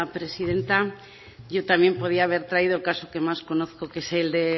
presidenta yo también podía haber traído el caso que más conozco que es el de